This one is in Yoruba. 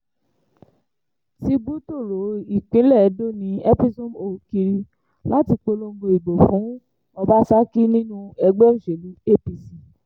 tìbú tóóró ìpínlẹ̀ edo ni episomhole kiri láti polongo ìbò fún ọbasákì nínú ẹgbẹ́ òsèlú apc